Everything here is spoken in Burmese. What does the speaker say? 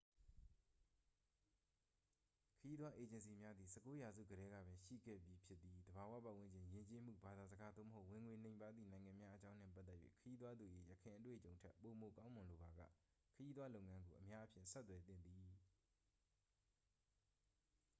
ခရီးသွားအေဂျင်စီများသည် 19 ရာစုကတည်းကပင် ရှိခဲ့ပြီးဖြစ်သည် သဘာဝပတ်ဝန်းကျင် ယဉ်ကျေးမှု ဘာသာစကား သို့မဟုတ် ဝင်ငွေနိမ့်ပါးသည့် နိုင်ငံများအကြောင်းနှင့် ပတ်သက်၍ ခရီးသွားသူ၏ ယခင်အတွေ့အကြုံထက် ပိုမိုကောင်းမွန်လိုပါက ခရီးသွားလုပ်ငန်းကို အများအားဖြင့် ဆက်သွယ်သင့်သည်